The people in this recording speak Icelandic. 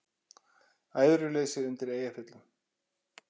Æðruleysi undir Eyjafjöllum